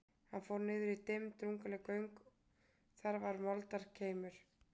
Hann fór niður í dimm og drungaleg göng, þar var moldarkeimur.